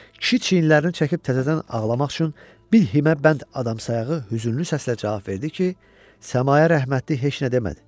Kişi çiyinlərini çəkib təzədən ağlamaq üçün bir himəbənd adam sayağı hüznlü səslə cavab verdi ki, Səmaya rəhmətlik heç nə demədi.